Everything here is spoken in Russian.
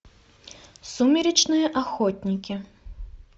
сумеречные охотники